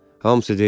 Hamısı deyil.